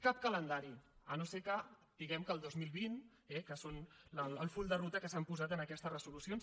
cap calendari si no és que diguem que el dos mil vint eh que és el full de ruta que s’han posat en aquestes resolucions